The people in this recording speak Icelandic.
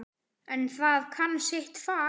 En það kann sitt fag.